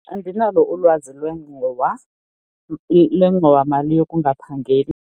Andinalo ulwazi lwengxowa lwengxowamali yokungaphangeli.